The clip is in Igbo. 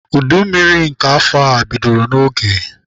Udu mmiri nke afọ a bidoro n'oge.